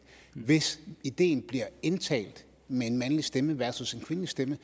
hvis ideen bliver indtalt med en mandlig stemme versus en kvindelig stemme